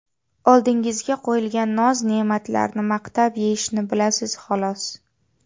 Oldingizga qo‘yilgan noz-ne’matlarni maqtab yeyishni bilasiz xolos.